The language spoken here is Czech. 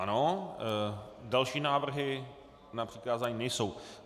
Ano, další návrhy na přikázání nejsou.